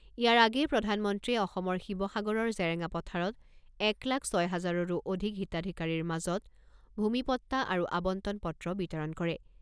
ইয়াৰ আগেয়ে প্ৰধানমন্ত্ৰীয়ে অসমৰ শিৱসাগৰৰ জেৰেঙা পথাৰত এক লাখ ছয় হাজাৰৰো অধিক হিতাধিকাৰীৰ মাজত ভূমিপট্টা আৰু আৱণ্টন পত্ৰ বিতৰণ কৰে।